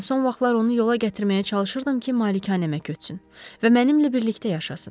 Mən son vaxtlar onu yola gətirməyə çalışırdım ki, malikanəmə köçsün və mənimlə birlikdə yaşasın.